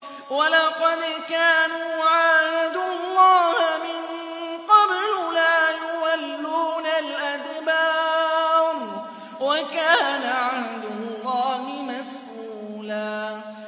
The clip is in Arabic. وَلَقَدْ كَانُوا عَاهَدُوا اللَّهَ مِن قَبْلُ لَا يُوَلُّونَ الْأَدْبَارَ ۚ وَكَانَ عَهْدُ اللَّهِ مَسْئُولًا